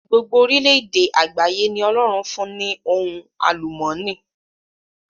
Gbogbo orílẹ èdè àgbáyé ni Ọlọ́run fún ní ohun àlùmọ́ọ́nì.